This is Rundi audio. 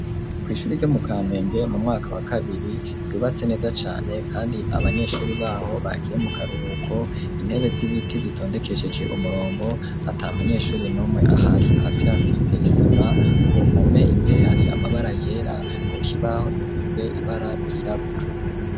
kw'ishure ryo mu kamenge mu mwaka wa kabiri ryubatse neza cane kandi abanyeshuri baho bagiye mu karuhuko, intebe z'ibiti zitondekesheje umurongo ata munyeshuri nomwe ahari, hasi hasize isima ku mpome imbere hari amabara yera ku kibaho dufise ibara ryirabura.